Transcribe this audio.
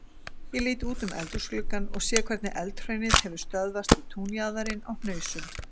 Ég lít út um eldhúsgluggann og sé hvernig Eldhraunið hefur stöðvast við túnjaðarinn á Hnausum.